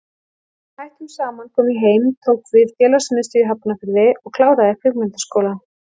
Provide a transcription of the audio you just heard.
Þegar við hættum saman kom ég heim, tók við félagsmiðstöð í Hafnarfirði og kláraði Kvikmyndaskólann.